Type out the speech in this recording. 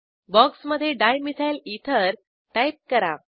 बॉक्समधे dimethyl ether type करा